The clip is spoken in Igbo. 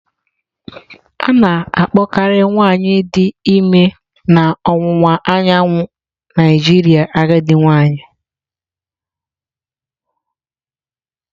A na-akpọkarị nwanyị dị ime na ọwụwa anyanwụ Naijiria agadi nwanyị.